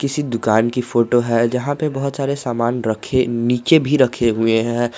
किसी दुकान की फोटो है जहां पे बहुत सारे सामान रख नीचे भी रखे हुए हैं।